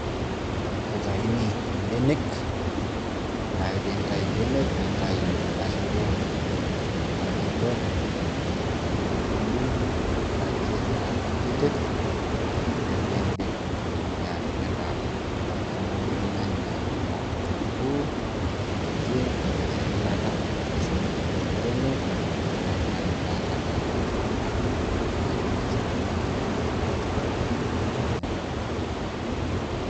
kitayuni ibenek. ore ake pee intayu ibenek, nintayu eda shoto naibor, nidung'idung' aitaa kutitik. ore ake pee idip nitumoki atipika, atudung'oki irnyanya, o kitunkuu emoti, nipik eilata. nireshu mitootuaa penyo, nelaki taata kuna puka naaji nitudung' dung'o atu lelo nyanya o kitunguu.